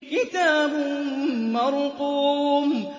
كِتَابٌ مَّرْقُومٌ